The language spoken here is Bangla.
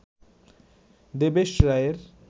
দেবেশ রায়ের